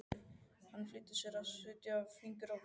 Hann flýtti sér að setja fingur að vörum.